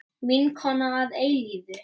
Vinkona að eilífu.